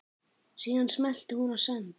Síðan smellti hún á send.